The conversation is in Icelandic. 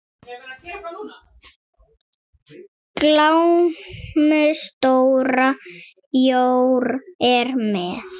Glámu stóra jór er með.